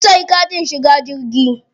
Mun siya katin shiga jirgi.